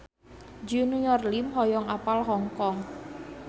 Junior Liem hoyong apal Hong Kong